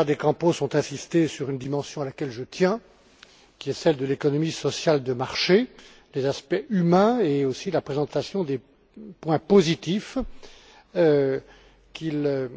Correia de Campos ont insisté sur une dimension à laquelle je tiens, qui est celle de l'économie sociale de marché les aspects humains et aussi la présentation des points positifs qu'il